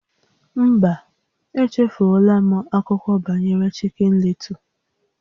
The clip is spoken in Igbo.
Mba, echefuola m akụkọ banyere Chicken Little